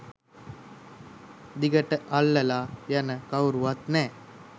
දිගට අල්ලලා යන කවුරුවත් නෑ